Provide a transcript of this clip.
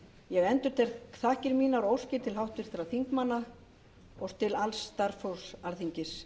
ég endurtek þakkir mínar og óskir til háttvirtra þingmanna og til alls starfsfólks alþingis